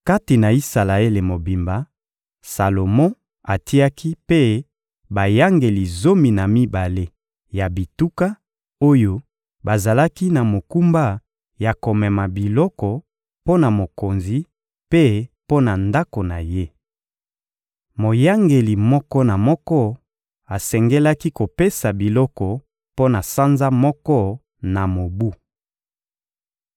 Kati na Isalaele mobimba, Salomo atiaki mpe bayangeli zomi na mibale ya bituka, oyo bazalaki na mokumba ya komema biloko mpo na mokonzi mpe mpo na ndako na ye. Moyangeli moko na moko asengelaki kopesa biloko mpo na sanza moko na mobu.